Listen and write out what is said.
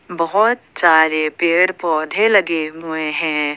बहोत सारे पेड़ पौधे लगे हुए हैं।